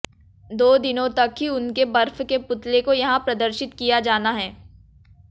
दो दिनों तक ही उनके बर्फ के पुतले को यहां प्रदर्शित किया जाना है